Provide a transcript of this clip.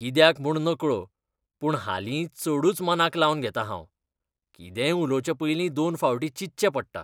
कित्याक म्हूण नकळो, पूण हालीं चडूच मनाक लावन घेतां हांव. कितेंय उलोवचे पयलीं दोन फावटीं चिंतचें पडटा.